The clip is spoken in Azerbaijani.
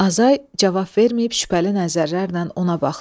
Azay cavab verməyib şübhəli nəzərlərlə ona baxdı.